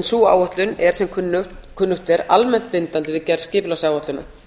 en sú áætlun er sem kunnugt er almennt bindandi við gerð skipulagsáætlunar